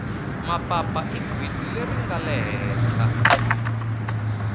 mapapa i gwitsi leri ringale hehla